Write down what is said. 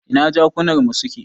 Ina jakunar mu suke?